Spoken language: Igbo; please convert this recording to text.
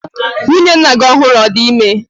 Nwunye nna gi ọhụrụ ọ̀ di ime?